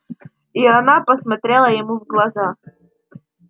и она посмотрела ему в глаза